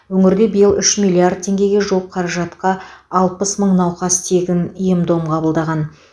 өңірде биыл үш миллиард теңгеге жуық қаражатқа алпыс мың науқас тегін ем дом қабылдаған